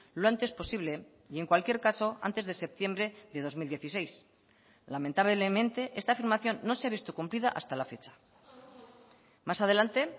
lo antes posible y en cualquier caso antes de septiembre de dos mil dieciséis lamentablemente esta afirmación no se ha visto cumplida hasta la fecha más adelante